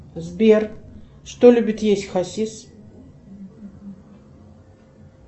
сбер что любит есть хасис